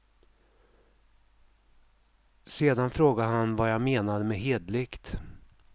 Sedan frågade han vad jag menade med hederligt.